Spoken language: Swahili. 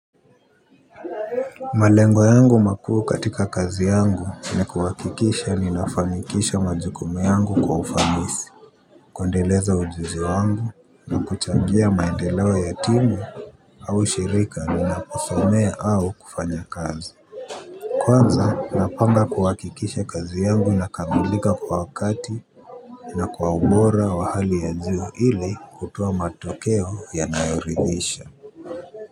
Malengo yangu makuu katika kazi yangu ni kuhakikisha ninafanikisha majukumu yangu kwa ufanisi. Kundeleza ujuzi wangu na kuchangia maendeleo ya ya timu au shirika ninaposomea au kufanya kazi. Kwanza napanga kuhakikisha kazi yangu inakamilika kwa wakati na kwaubora wa hali ya juu ili kutoa matokeo yanayoridhisha. Kwa hivyo.